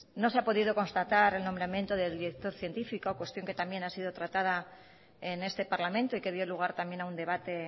no se ha podido constatar el nombramiento del director científico cuestión que también ha sido tratada en este parlamento y que dio lugar también a un debate